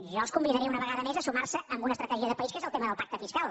jo els convidaré una vegada més a sumar se a una estratègia de país que és el tema del pacte fiscal